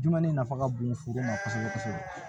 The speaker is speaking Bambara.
Dunɛni nafa ka bon foro ma kosɛbɛ kosɛbɛ